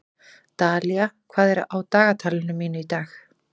Dalía, hvað er á dagatalinu mínu í dag?